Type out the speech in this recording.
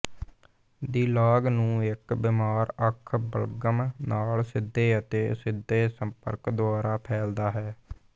ਦੀ ਲਾਗ ਨੂੰ ਇੱਕ ਬਿਮਾਰ ਅੱਖ ਬਲਗਮ ਨਾਲ ਸਿੱਧੇ ਅਤੇ ਅਸਿੱਧੇ ਸੰਪਰਕ ਦੁਆਰਾ ਫੈਲਦਾ ਹੈ